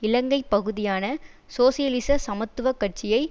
இலங்கை பகுதியான சோசியலிச சமத்துவ கட்சியை